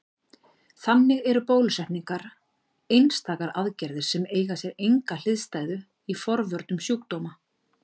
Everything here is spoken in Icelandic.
Þannig eru bólusetningar einstakar aðgerðir sem eiga sér enga hliðstæðu í forvörnum sjúkdóma.